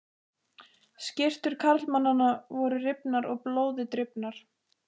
Skyrtur karlmannanna voru rifnar og blóði drifnar.